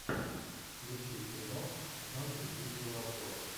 включи фильмок в жанре видеообзор